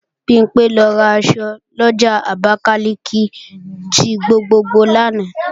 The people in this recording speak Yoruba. Bimpé lọ ra èso lọjà Abakalika ti gbogbogbò lánàá